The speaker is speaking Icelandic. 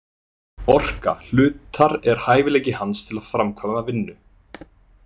Orka hlutar er hæfileiki hans til að framkvæma vinnu.